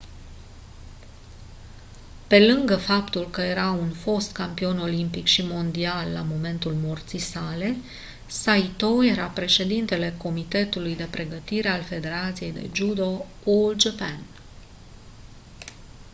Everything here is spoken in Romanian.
pe lângă faptul că era un fost campion olimpic și mondial la momentul morții sale saito era președintele comitetului de pregătire al federației de judo all japan